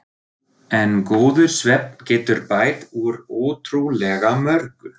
En góður svefn getur bætt úr ótrúlega mörgu.